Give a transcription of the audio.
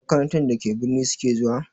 Makarantar da ke birni su ke zuwa?